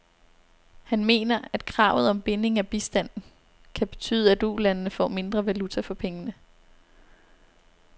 Han mener, at kravet om binding af bistanden kan betyde, at ulandene får mindre valuta for pengene.